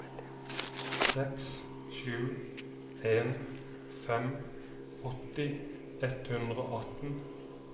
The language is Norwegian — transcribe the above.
seks sju en fem åtti ett hundre og atten